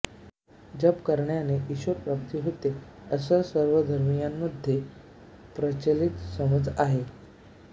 जप करण्याने ईश्वरप्राप्ती होते असा सर्व धर्मीयांमध्ये प्रचलित समज आहे